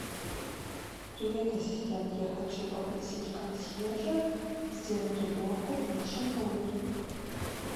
привет ассистент я хочу попросить консьержа сделать уборку в нашем номере